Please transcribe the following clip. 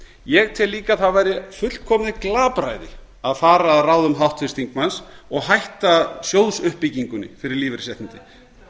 ég tel líka að það væri fullkomið glapræði að fara að ráðum háttvirts þingmanns og hætta sjóðsuppbyggingunni fyrir lífeyrisréttindin